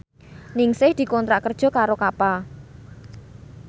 Ningsih dikontrak kerja karo Kappa